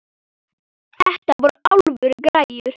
Þetta eru alvöru græjur.